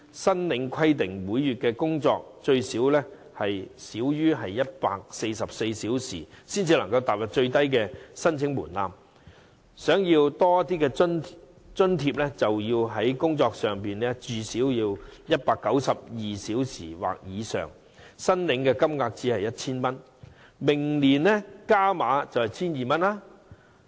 計劃規定申請人每月須最少工作144小時，才符合最低申請門檻，如想獲發多些津貼，便要工作至少192小時或以上，但津貼金額也只是 1,000 元，明年將增加至 1,200 元。